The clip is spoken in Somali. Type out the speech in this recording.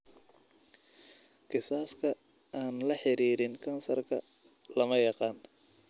Kiisaska aan la xiriirin kansarka lama yaqaan.